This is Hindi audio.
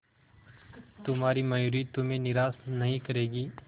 तुम्हारी मयूरी तुम्हें निराश नहीं करेगी